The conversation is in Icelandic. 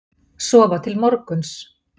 Sofa til morguns.